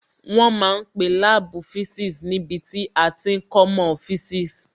Wọ́n ma ń pe láàbù physics níbi tí a ti ń kọ́mọ́ physics